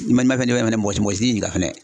N'i ma fɛn di fɛnɛ mɔgɔ si t'i ɲininka fɛnɛ.